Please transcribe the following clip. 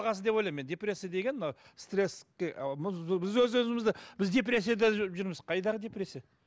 ойлаймын мен депрессия деген мына стресске біз өз өзімізді біз депрессияда жүрміз қайдағы депрессия